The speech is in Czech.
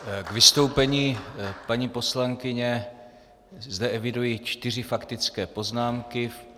K vystoupení paní poslankyně zde eviduji čtyři faktické poznámky.